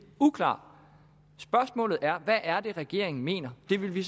uklar spørgsmålet er hvad er det regeringen mener det vil vi